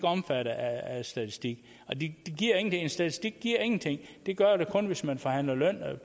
omfattet af statistikken en statistik giver ingenting det gør det kun hvis man forhandler lønnen